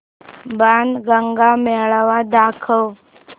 बाणगंगा मेळावा दाखव